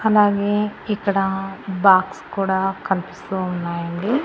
అలాగే ఇక్కడ బాక్స్ కూడా కనిపిస్తూ ఉన్నాయండి.